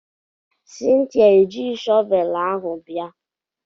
Cynthia ejighị shọvelụ ahu bia.